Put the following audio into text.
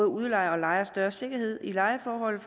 udlejere og lejere større sikkerhed i lejeforholdet